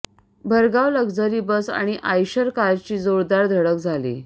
भरधाव luxury bus आणि Eicher कारची जोरदार धडक झाली